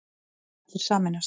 Kauphallir sameinast